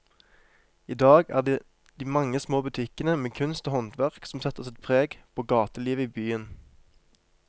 I dag er det de mange små butikkene med kunst og håndverk som setter sitt preg på gatelivet i byen.